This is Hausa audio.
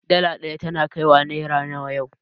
Dala ɗaya tana kaiwa naira nawa yau